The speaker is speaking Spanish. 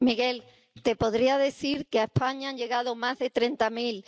Sí, Miguel, te podría decir que a España han llegado más de treinta mil